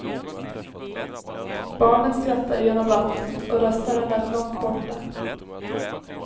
Barnen skrattade genom vattnet och rösterna lät långt borta.